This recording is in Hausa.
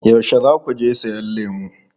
Yaushe za ku je siyan lemu?